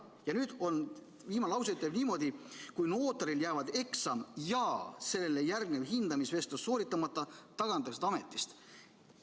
Ja viimane lause ütleb niimoodi: kui notaril jäävad eksam ja sellele järgnev hindamisvestlus sooritamata, tagandatakse ta ametist.